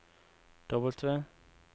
W